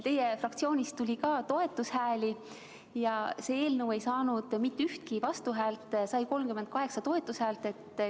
Teie fraktsioonist tuli ka toetushääli ja see eelnõu ei saanud mitte ühtegi vastuhäält, sai 38 toetushäält.